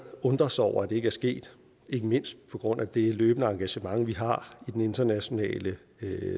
undre sig over at det ikke er sket ikke mindst på grund af det løbende engagement vi har i den internationale